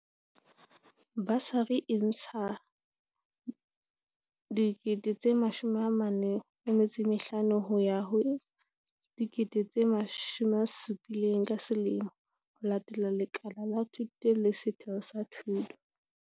Basari e ntsha R45 000 ho ya ho R70 000 ka selemo, ho latela lekala la thuto le setheo sa thuto.